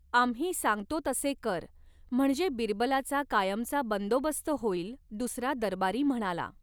आम्ही सांगतो तसे कर म्हणजे बिरबलाचा कायमचा बंदोबस्त होईल दुसरा दरबारी म्हणाला.